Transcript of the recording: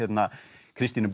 Kristín er búin að